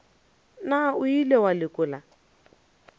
na o ile wa lekola